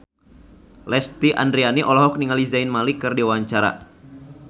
Lesti Andryani olohok ningali Zayn Malik keur diwawancara